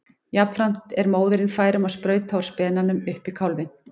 Jafnframt er móðirin fær um að sprauta úr spenanum upp í kálfinn.